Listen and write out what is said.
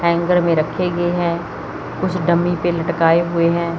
Hanger में रखे गए हैं कुछ डमी पे लटकाए हुए हैं।